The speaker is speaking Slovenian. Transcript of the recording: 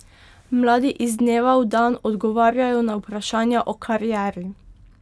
Mladi iz dneva v dan odgovarjajo na vprašanja o karieri.